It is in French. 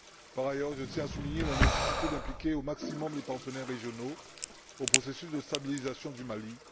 Par ailleurs, je tiens à souligner la nécessité d'impliquer au maximum les partenaires régionaux dans le processus de stabilisation du Mali.